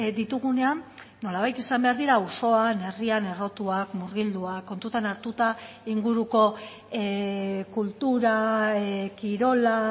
ditugunean nolabait izan behar dira auzoan herrian errotuak murgilduak kontutan hartuta inguruko kultura kirola